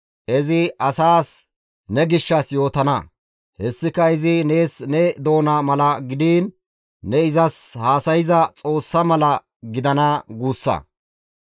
Izi asaas ne gishshas yootana; hessika izi nees ne doona mala gidiin ne izas haasayza Xoossa mala gidana guussa.